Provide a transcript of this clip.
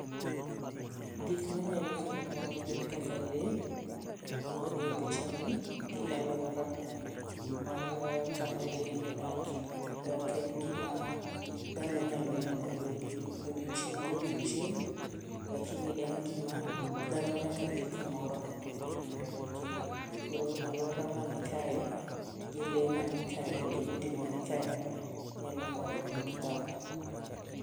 Gik manyalo kelo mor gin kaka lee manie picha ni gi aluora mar kama lee ni odake . E ok en gima dhano nyalo neno e odie odiochieng' kodiochieng' to lakini[cs en gima dhano nyaka dhi kamoro mondo mi gine. Koro aluora manikae gi, lee manikae gi, udi mani kae nyalo moro dhano.